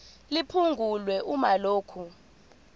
liphungulwe uma lokhu